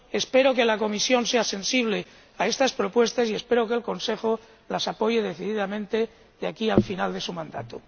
Espero que la Comisión sea sensible a estas propuestas y espero que el Consejo las apoye decididamente de aquí al final de su mandato.